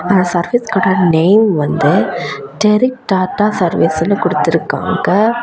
அந்த சர்வீஸ் கடை நேம் வந்து டேரிக் டாடா சர்வீஸ் ன்னு குடுத்துருக்காங்க.